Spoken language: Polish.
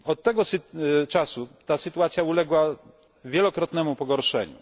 Od tego czasu sytuacja ta uległa wielokrotnemu pogorszeniu.